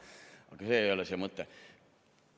Aga see ei ole see mõte.